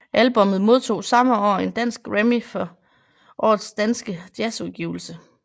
Albummet modtog samme år en Dansk Grammy for Årets danske jazzudgivelse